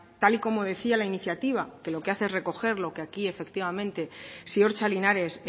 tal y como decía la iniciativa que lo que hace es recoger lo que aquí ziortza linares